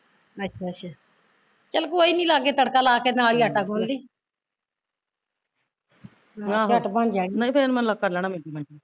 ਅੱਛਾ ਅੱਛਾ ਚੱਲ ਕੋਈ ਨੀ ਲਾਗੇ ਤੜਕਾ ਲਾ ਕੇ ਨਾਲੇ ਈ ਆਟਾ ਗੁਨ ਲਈ ਚੱਟ ਬਣ ਜਾਣੀ